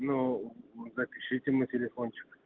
ну запишите мой телефончик